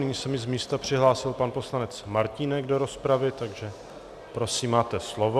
Nyní se mi z místa přihlásil pan poslanec Martínek do rozpravy, takže prosím, máte slovo.